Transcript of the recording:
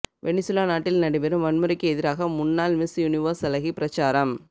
Venezuela நாட்டில் நடைபெறும் வன்முறைக்கு எதிராக முன்னாள் மிஸ் யுனிவர்ஸ் அழகி பிரசாரம்